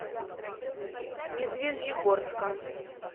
медвежьегорска